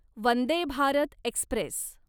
Vande Bharat Express